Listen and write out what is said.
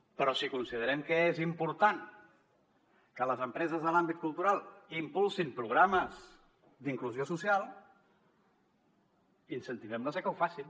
però si considerem que és important que les empreses de l’àmbit cultural impulsin programes d’inclusió social incentivem les a que ho facin